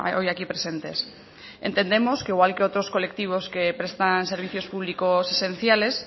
hoy aquí presentes entendemos que igual que otros colectivos que prestan servicios públicos esenciales